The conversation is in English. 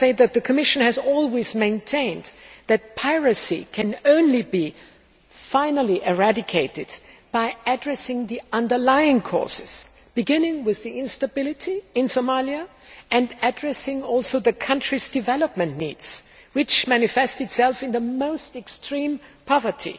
The Commission has always maintained that piracy can only be finally eradicated by addressing the underlying causes, beginning with the instability in Somalia and also addressing the country's development needs, which manifest themselves in the most extreme poverty,